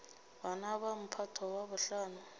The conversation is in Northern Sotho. bana ba mphato wa bohlano